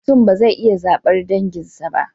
Mutum ba zai iya zabar danginsa ba